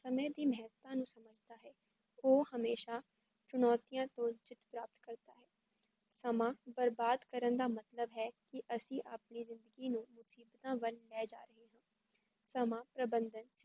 ਸਮੇ ਦੀ ਮੇਹਤਾਂ ਜੋ ਸਮਝਦਾ ਹੈ, ਓਹ ਹਮੇਸ਼ਾ ਚੁਣੋਤੀਆਂ ਤੋਂ ਵਿਜਯੇ ਪ੍ਰਾਪਤ ਕਰਤਾ ਹੈ, ਸਮਾਂ ਬਰਬਾਦ ਕਰਨ ਦਾ ਮਤਲਬ ਹੈ ਕੀ ਅਸੀ ਆਪਣੇ ਜੀਂਦਗੀ ਨੂੰ ਮੁਸੀਬਤਾਂ ਵੱਲ ਲੈ ਜਾ ਰਹੇ ਹਾਂ ਸਮਾਂ ਪ੍ਰਬੰਧਨ-*